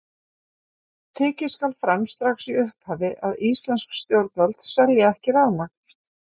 Tekið skal fram strax í upphafi að íslensk stjórnvöld selja ekki rafmagn.